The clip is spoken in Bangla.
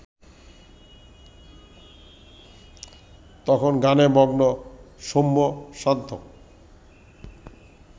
তখন গানে মগ্ন সৌম্য-শান্ত